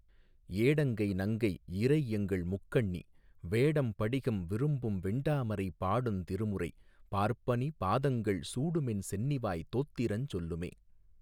ஏடங்கை நங்கை இறைஎங்கள் முக்கண்ணி வேடம் படிகம் விரும்பும்வெண் டாமரை பாடுந் திருமுறை பார்ப்பனி பாதங்கள் சூடுமென் சென்னிவாய் தோத்திரஞ் சொல்லுமே.